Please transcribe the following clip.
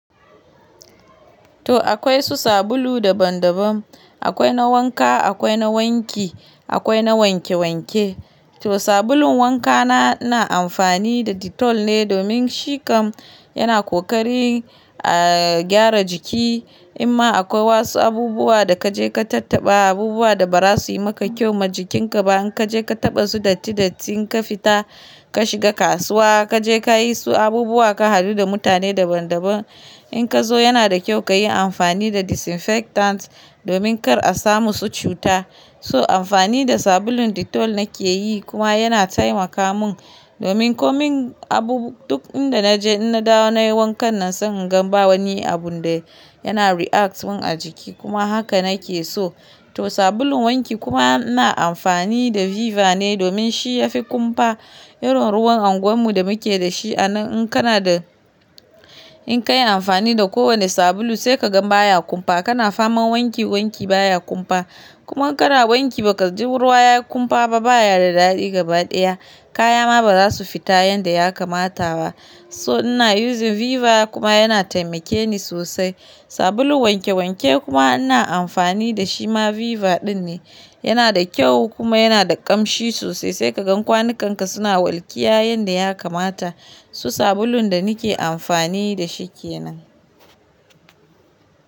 To akwai su sabulu daban-daban, akwai na wanka, akwai na wanki, akwai na wanke wanke. To sabulun wanka na ina amfani da Dettol ne domin shi kam yana ƙoƙari a gyara jiki. In ma akwai wasu abubuwa da kaje ka tattaɓa, abubuwa da ba za su yi maka kyau ma jikinka ba. In kaje ka taɓa su datti datti, in ka fita ka shiga kasuwa, kaje kayi wasu abubuwa, ka hadu da mutane daban daban. In ka zo yana da kyau kayi amfani da disinfectants domin kar a samu su cuta. So amfani da sabulun Dettol nake yi kuma yana taimaka mun domin komai abubu duk inda naje in na dawo nayi wankan nan sabin gan ba wani abun da yana react mun a jiki kuma haka nake so. To sabulun wanki kuma ina amfani da Viva ne domin shi ya fi kumfa irin ruwan anguwar mu da muke da shi a nan. In kana da, in ka yi amfani da kowane sabulu sai kaga baya kumfa, kana faman wanki wanki baya kumfa. Kuma kara wanki ba ka ji ruwa ya kumfa ba baya da daɗi gabaɗaya. Kaya ma ba za su fita yanda ya kamata ba. So ina using Viva kuma yana taimake ni sosai. Sabulun wanke wanke kuma ina amfani da shi ma Viva ɗin ne. Yana da kyau kuma yana da ƙamshi sosai sai ka gan kwanu kan ka suna walƙiya yanda ya kamata. Su sabulun da ni ke amfani da shi ke nan.